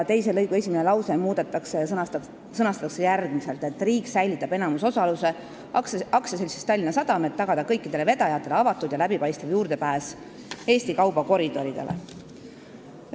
Teise lõigu esimene lause muudetakse ja sõnastatakse järgmiselt: "Riik säilitab enamusosaluse AS-s Tallinna Sadam, et tagada kõikidele vedajatele avatud ja läbipaistev juurdepääs Eesti kaubakoridoridele.